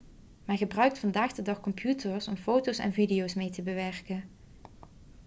men gebruikt vandaag de dag computers om foto's en video's mee te bewerken